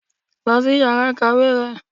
lọ si ìyára ikáwe rẹ!